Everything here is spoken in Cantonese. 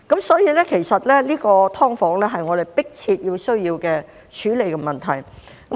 所以，其實"劏房"是我們迫切需要處理的問題。